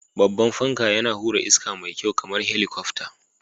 Babban fanka, yana hura iska mai kyau kamar helikwafta